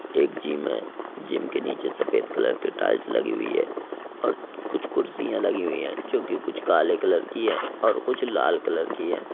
एक ज़िम है ज़िम के निचे सफेद कलर के टाइल्स लगी हुई है पर कूछ कुर्सियां लगी हुई है जोकि कुछ काले कलर की है और कुछ लाल कलर की है।